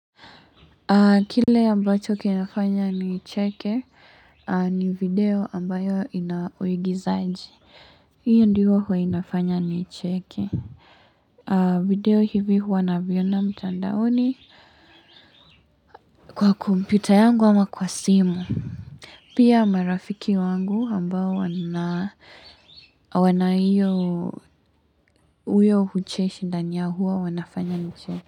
Kile ambacho kinafanya ni cheke ni video ambayo inawaigizaaji. Hiyo ndiyo huwa inafanya ni cheke. Video hivi huwa naviona mtandaoni kwa komputa yangu ama kwa simu. Pia marafiki wangu ambayo wana huyo hucheshi ndani yao huwa wanafanya ni cheke.